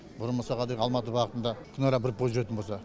бұрын мысалға деген алматы бағытында күнара бір пойыз жүретін болса